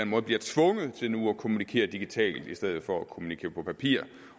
måde bliver tvunget til nu at kommunikere digitalt i stedet for at kommunikere på papir